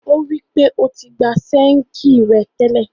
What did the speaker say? O wi pé o ti gba ṣéngì ẹ tẹ́lẹ̀.